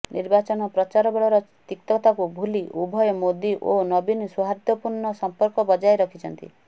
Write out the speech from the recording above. ନିର୍ବାଚନ ପ୍ରଚାର ବେଳର ତିକ୍ତତାକୁ ଭୁଲି ଉଭୟ ମୋଦି ଓ ନବୀନ ସୌହାର୍ଦ୍ଦ୍ୟପୂର୍ଣ୍ଣ ସଂପର୍କ ବଜାୟ ରଖିଛନ୍ତି